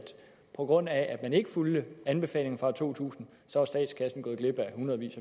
på grund af at man ikke fulgte anbefalingerne fra år to tusind så er statskassen gået glip af hundredvis